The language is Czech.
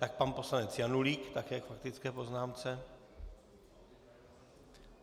Tak pan poslanec Janulík také k faktické poznámce.